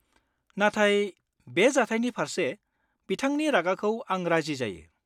नाथाय, बे जाथायनि फारसे बिथांनि रागाखौ आं राजि जायो।